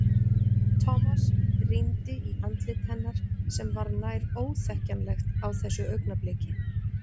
Thomas rýndi í andlit hennar sem var nær óþekkjanlegt á þessu augnabliki.